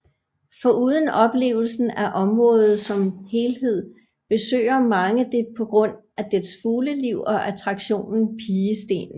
Foruden oplevelsen af området som helhed besøger mange det på grund af dets fugleliv og attraktionen Pigestenen